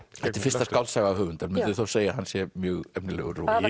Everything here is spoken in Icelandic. þetta er fyrsta skáldsaga höfundar munduð þið segja að hann sé mjög efnilegur